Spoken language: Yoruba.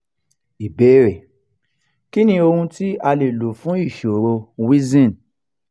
ìbéèrè: kí ni ohun ti a le lo fun ìṣòro cs] wheezing?